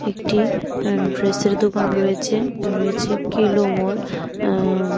একটি আঃ ড্রেসের দোকান রয়েছে রয়েছে কিলো মল আঃ উম--